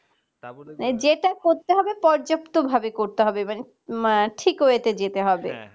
যেটা করতে হবে পর্যাপ্ত ভাবে করতে হবে মানে ঠিক way তে যেতে হবে